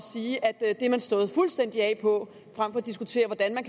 sige at det er man stået fuldstændig af på frem for at diskutere hvordan